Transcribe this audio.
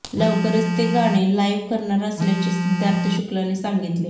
लवकरच ते गाणे लाइव करणार असल्याचे सिद्धार्थ शुक्लाने सांगितले